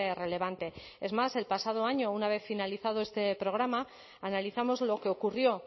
relevante es más el pasado año una vez finalizado este programa analizamos lo que ocurrió